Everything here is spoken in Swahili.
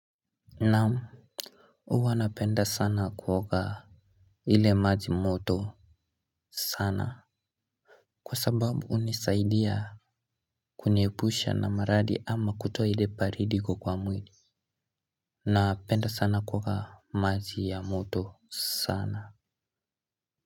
Naam huwa napenda sana kuoka ile maji moto Sana. Kwa sababu hunisaidia kuniepusha na maradi ama kutoa ile baridi iko kwa mwili. Napenda sana kuoga maji ya moto sana.